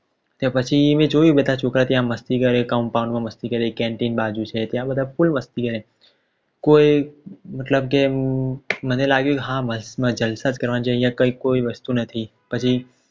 કે પછી મેં જોયું તો છોકરા બધા ત્યાં મસ્તી કરે compoun મસ્તી કરે Canteen બાજુ છે ત્યાં બધા ફૂલ મસ્તી એ કોઈ મતલબ કે મને લાગ્યું હા અહીંયા જલસા જ કરવાના છે અહીંયા કઈકે કોઈ વસ્તુ નથી પછી